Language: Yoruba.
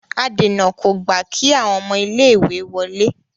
adèna kò gba kí àwọn ọmọ ilé ìwé wọlé.